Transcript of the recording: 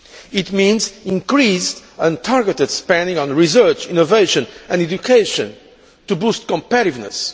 It means increased and targeted spending on research, innovation and education to boost competitiveness